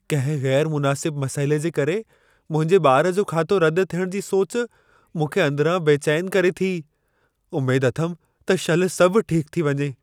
कंहिं ग़ैरु मुनासिब मसइले जे करे मुंहिंजे ॿार जो खातो रदि थियणु जी सोच, मूंखे अंदिरां बेचैन करे थी, उमेद अथमि त शल सभु ठीक थी वञे।